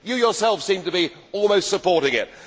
You yourself seem to be almost supporting it.